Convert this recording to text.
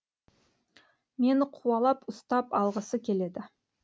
мені қуалап ұстап алғысы келеді